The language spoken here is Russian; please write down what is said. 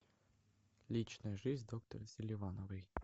личная жизнь доктора селивановой